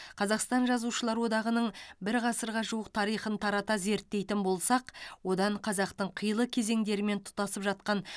қазақстан жазушылар одағының бір ғасырға жуық тарихын тарата зерттейтін болсақ одан қазақтың қилы кезеңдерімен тұтасып жатқан